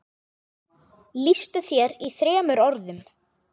Lýstu þér í þremur orðum.